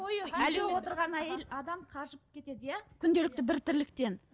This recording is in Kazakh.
отырған әйел адам қажып кетеді иә күнделікті бір тірліктен